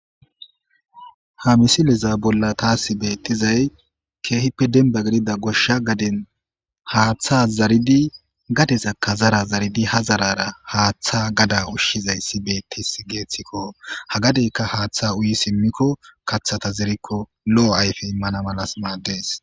ha misiliza bolla taasi beettizay keehippe dinba gidida goshsha gadin haaththa zaridi gadesakka zara zaridi ha zarara haaththa gada ushshizay si beettis geeththikko ha gadeyka haaththa uyi simmikko kaththata zerikko lo7o ayfe immana malas maaddes